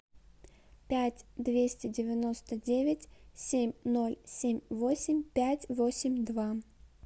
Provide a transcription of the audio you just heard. пять двести девяносто девять семь ноль семь восемь пять восемь два